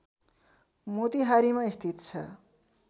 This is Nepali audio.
मोतिहारीमा स्थित छ